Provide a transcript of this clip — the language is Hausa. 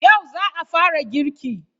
Yau za a fara girki?